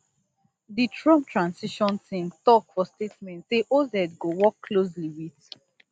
di trump transition team tok for statement say oz go work closely wit